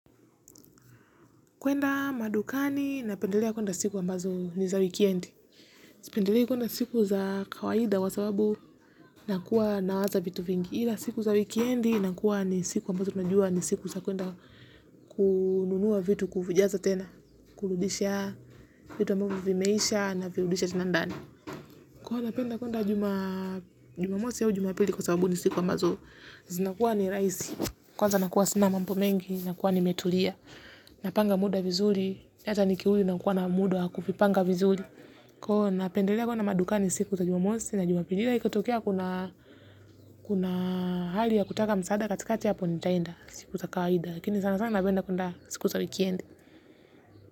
Kuenda madukani, napendelea kuenda siku ambazo ni za wikendi. Sipendelei kwenda siku za kawaida kwa sababu ninakuwa nawaza vitu vingi. Ila siku za wikendi, inakuwa ni siku ambazo tunajua ni siku za kwenda kununua vitu kuvijaza tena. Kurudisha vitu ambavyo vimeisha navirudisha tena ndani. Kwa kuwa napenda kwenda Jumamosi au Jumapili kwa sababu ni siku ambazo. Zinakuwa ni rahisi. Kwanza nakuwa sina mambo mengi, nakuwa nimetulia. Napanga muda vizuri, hata nikiwa na kukosa muda, kujipanga vizuri. Kwa hiyo napendelea kwenda madukani siku za Jumamosi. Na Jumapili, ikitokea kuna hali ya kutaka msaada, katika hali hiyo nitaenda siku za kawaida, lakini sana sana napenda kwenda siku za wikendi.